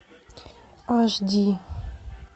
аш ди